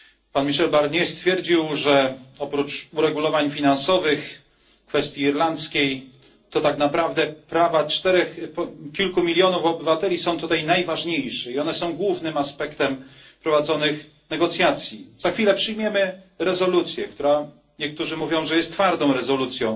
Pan Michel Barnier stwierdził, że oprócz uregulowań finansowych, kwestii irlandzkiej, to tak naprawdę prawa kilku milionów obywateli są tutaj najważniejsze, i one są głównym aspektem prowadzonych negocjacji. Za chwilę przyjmiemy rezolucję, która, niektórzy mówią, że jest twardą rezolucją,